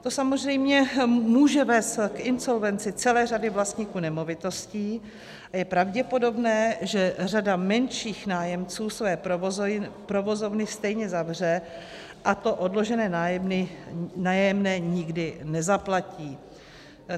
To samozřejmě může vést k insolvenci celé řady vlastníků nemovitostí a je pravděpodobné, že řada menších nájemců své provozovny stejně zavře a to odložené nájemné nikdy nezaplatí.